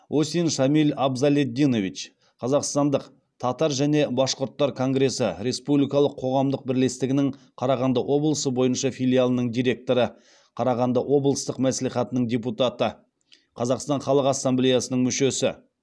осин шамиль абзалетдинович қазақстандық татар және башқұрттар конгресі республикалық қоғамдық бірлестігінің қарағанды облысы бойынша филиалының директоры қарағанды облыстық мәслихатының депутаты қазақстан халық ассамблеясының мүшесі